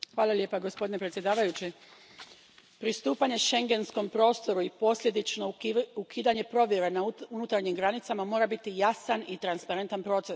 Gospodine predsjedavajući, pristupanje schengenskom prostoru i posljedično ukidanje provjera na unutarnjim granicama mora biti jasan i transparentan proces.